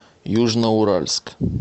южноуральск